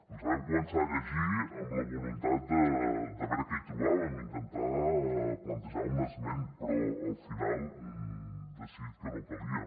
ens la vam començar a llegir amb la voluntat de veure què hi trobàvem intentar plantejar una esmena però al final hem decidit que no calia